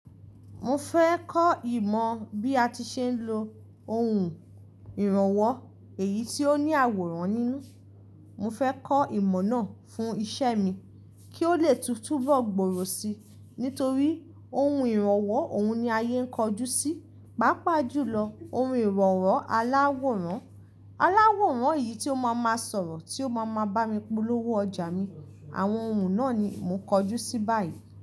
Mo fẹ́ kọ́ ìmọ̀ bí a ti ṣe ń lo ohun ìrànwọ́, èyí tí ó ní àwòrán nínú. Mo fẹ́ kọ́ ìmọ̀ náà fún iṣẹ́ mi kí ó lè túbọ̀ gbòòrò si. Nítorí ohun ìrànwọ́, òun ni ayé ń kojú sí. Pápa jù lọ, ohun ìrọ̀nwo aláwòrán. Aláwòrán yìí tí ó máa ma sọ̀rọ̀, tí ó máa ma bá mi polówó ọjà mi. Àwọn ohun náà ni mò ń kojú sí báyìí.